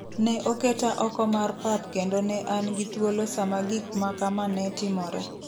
ne oketa oko mar pap kendo ne an gi thuolo sama gik ma kama ne timore.